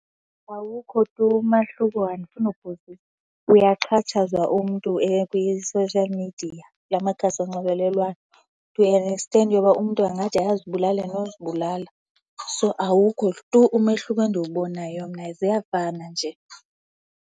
Awukho tu umahluko, andifuni ukuphosisa. Uyaxhatshazwa umntu kwi-social media, la makhasi onxibelelwano to an extent yoba umntu angade azibulale nozibulala. So, awukho tu umehluko endiwubonayo mna, ziyafana nje.